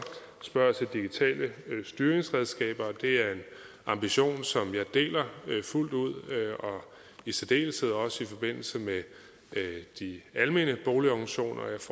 spørger til digitale styringsredskaber og det er en ambition som jeg deler fuldt ud i særdeleshed også i forbindelse med de almene boligorganisationer